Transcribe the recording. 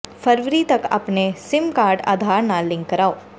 ਫਰਵਰੀ ਤਕ ਆਪਣੇ SIM card Aadhaar ਨਾਲ ਿਲੰਕ ਕਰਾਓ